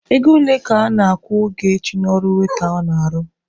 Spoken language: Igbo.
Ego ole ka a na-akwụ Ogechi n'ọrụ waita ọ na-arụ?